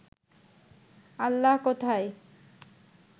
আল্লাহ কোথায়?